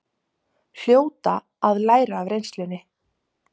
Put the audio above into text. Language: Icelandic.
Hljóta að læra af reynslunni